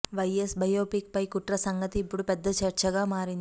why S biopic పై కుట్ర సంగతి ఇప్పుడు పెద్ద చర్చ గా మారింది